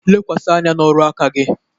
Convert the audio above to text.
Lekwasị anya n'ọrụ aka gị